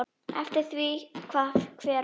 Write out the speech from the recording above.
Eftir því hvað hver vill.